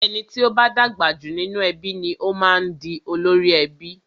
Ẹni tí o bá dàgbà jù nínú ẹbí ni o máa ń di olórí ẹbí.